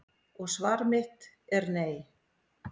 Og svar mitt er nei.